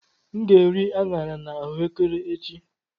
M ga-eri aṅara na ahuekere echi.